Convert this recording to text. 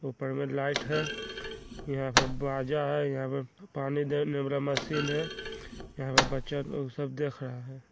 ऊपर पर लाइट है हीया पर बाजा है हीया पर पानी दे वाला मशीन है हीया पर बच्चा लोग सब देख रहा है।